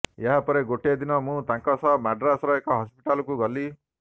ଏହାପରେ ଗୋଟେ ଦିନ ମୁଁ ତାଙ୍କ ସହ ମାଡ୍ରାସର ଏକ ହସ୍ପିଟାଲକୁ ଗଲି